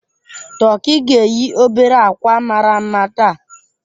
Tọki ga-eyi obere akwa mara mma taa.